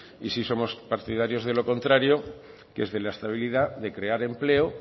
y sí somos partidarios de lo contrario que es de la estabilidad de crear empleo